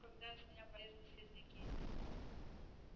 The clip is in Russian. ну когда из меня полезли слизняки